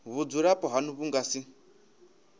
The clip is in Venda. vhudzulapo hanu vhu nga si